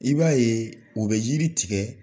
I b'a ye, o bɛ yiri tigɛ,